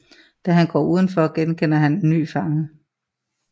Da han går udenfor genkender han en ny fange